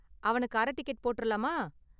அவனுக்கு அரை டிக்கெட் போட்றலாமா?